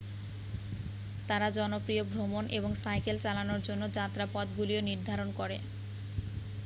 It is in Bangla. তারা জনপ্রিয় ভ্রমণ এবং সাইকেল চালানোর জন্য যাত্রাপথগুলিও নির্ধারণ করে